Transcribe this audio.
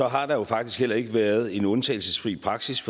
har der jo faktisk heller ikke været en undtagelsesfri praksis